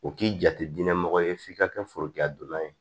O k'i jate diinɛ mɔgɔ ye f'i ka kɛ forokiyadonna ye